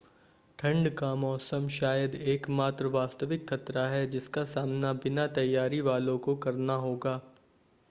ठंड का मौसम शायद एकमात्र वास्तविक ख़तरा है जिसका सामना बिना तैयारी वालों को करना होगा